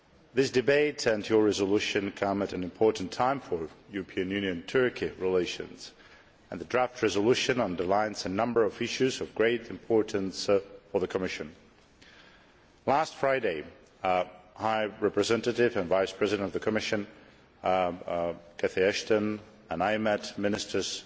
This debate and your resolution come at an important time for European Union Turkey relations, and the draft resolution underlines a number of issues of great importance for the Commission. Last Friday the High Representative and Vice President of the Commission Cathy Ashton and I met ministers